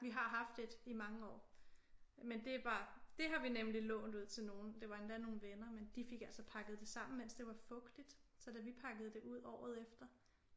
Vi har haft et i mange år men det var det har vi nemlig lånt ud til nogle det var endda nogle venner men de fik altså pakket det sammen mens det var fugtigt så da vi pakkede det ud året efter